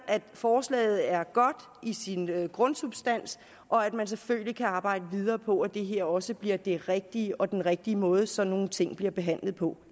at forslaget er godt i sin grundsubstans og at man selvfølgelig kan arbejde videre på at det her også bliver det rigtige og den rigtige måde sådan nogle ting bliver behandlet på